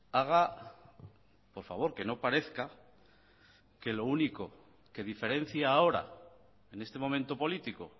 haga por favor que no parezca que lo único que diferencia ahora en este momento político